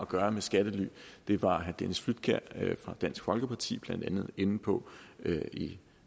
gøre med skattely det var herre dennis flydtkjær fra dansk folkeparti blandt andet inde på i